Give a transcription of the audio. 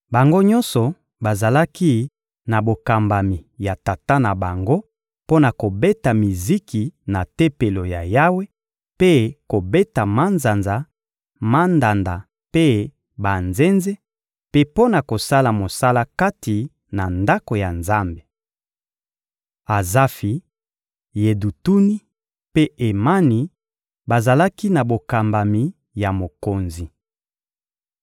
Bango nyonso bazalaki na bokambami ya tata na bango mpo na kobeta miziki na Tempelo ya Yawe mpe kobeta manzanza, mandanda mpe banzenze; mpe mpo na kosala mosala kati na Ndako ya Nzambe. Azafi, Yedutuni mpe Emani bazalaki na bokambami ya mokonzi.